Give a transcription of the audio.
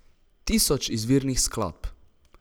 Tisoč izvirnih skladb.